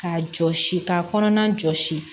Ka jɔsi k'a kɔnɔna jɔsi